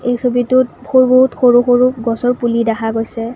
এই ছবিটোত বহুত সৰু সৰু গছৰ পুলি দেখা পোৱা গৈছে।